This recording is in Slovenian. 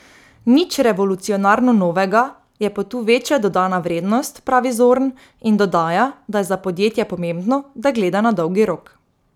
Nič revolucionarno novega, je pa tu večja dodana vrednost, pravi Zorn in dodaja, da je za podjetje pomembno, da gleda na dolgi rok.